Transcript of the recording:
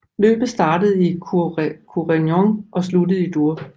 Løbet startede i Quaregnon og sluttede i Dour